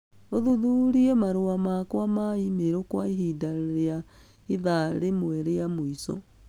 ũthuthurie marũa makwa ma e-mail kwa ihinda rĩa ithaa rĩmwe rĩa mũico.